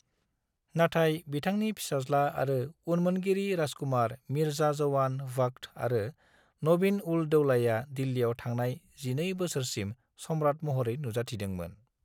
नाथाइ बिथांनि फिसाज्ला आरो उनमोनगिरि राजकुमार मिर्जा जवान बख्त आरो नजीब-उल-दौलाया दिल्लियाव थांनाय 12 बोसोरसिम सम्रात महरै नुजाथिदोंमोन।